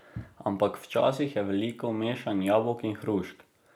Ampak včasih je veliko mešanja jabolk in hrušk.